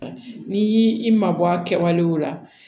N'i y'i mabɔ a kɛwale la